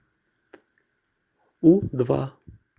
у два